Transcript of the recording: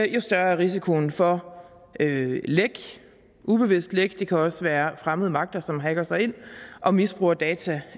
jo større er risikoen for læk ubevidste læk det kan også være fremmede magter som hacker sig ind og misbruger data